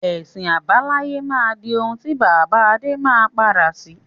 Ẹ̀sìn àbáláyé máa di òun ti bàbá Adé má padà sí.